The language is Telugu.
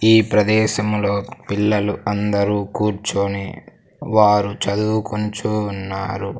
ఈ ప్రదేశంలో పిల్లలు అందరూ కూర్చొని వారు చదువుకుంచూవున్నారు.